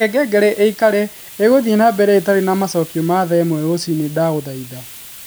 Reke ngengere ĩikare ĩgũthiĩ na mbere itarĩ na macokio ma thaa ĩmwe rũcinĩ ndaguthaitha